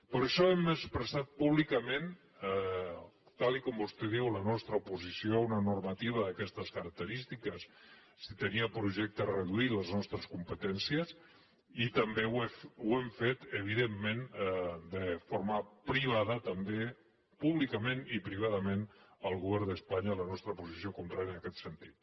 per això hem expressat públicament tal com vostè diu la nostra oposició a una normativa d’aquestes caracte·rístiques si tenia en projecte reduir les nostres com·petències i també ho hem fet evidentment de forma privada també públicament i privadament al govern d’espanya la nostra posició contrària en aquest sentit